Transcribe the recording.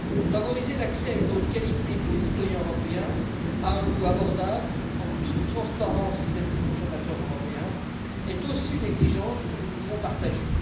Favoriser l'accès à une eau de qualité pour les citoyens européens à un coût abordable, en toute transparence vis à vis du consommateur européen, est aussi une exigence que nous pouvons partager.